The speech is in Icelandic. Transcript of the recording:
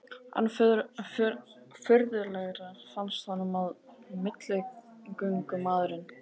Enn furðulegra fannst honum að milligöngumaðurinn